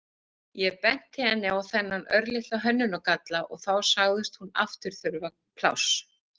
Ég benti henni á þennan örlitla hönnunargalla og þá sagðist hún aftur þurfa pláss.